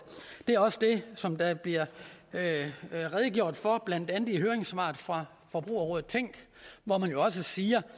er også det som der bliver redegjort for blandt andet i høringssvaret fra forbrugerrådet tænk hvori man jo også siger